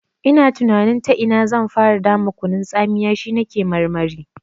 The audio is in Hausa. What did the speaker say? Ina tunanin ta ina zan fara dama kunun tsamiya, shi na ke marmari.